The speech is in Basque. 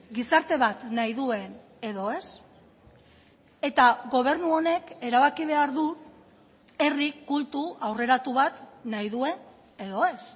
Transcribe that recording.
gizarte bat nahi duen edo ez eta gobernu honek erabaki behar du herri kultu aurreratu bat nahi duen edo ez